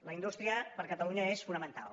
la indústria per a catalunya és fonamental